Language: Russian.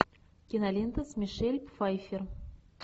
кинолента с мишель пфайффер